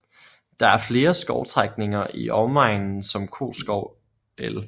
Der er flere skovstrækninger i omegnen som Koskov el